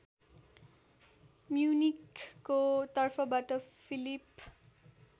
म्युनिखको तर्फबाट फिलिप